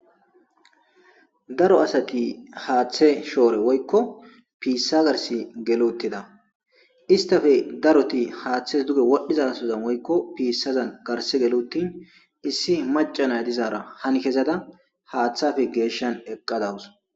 daro asati haaththe shoore woykko piissa garsi geluttida istafe daroti haaththe duge wadhiza sozan woykko piissazan garse geluttin issi macanay dizaara han kezada haaththafe geeshshan eqqadawus